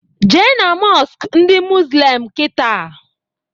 Jee na mọsk ndị muzlim kịta!